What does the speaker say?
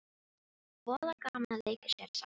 Voða gaman að leika sér saman